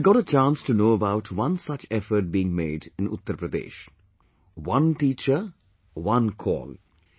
I got a chance to know about one such effort being made in Uttar Pradesh "One Teacher, One Call"